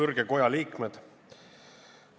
Kõrge koja liikmed!